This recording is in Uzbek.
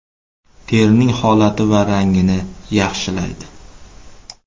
Terining holati va rangini yaxshilaydi.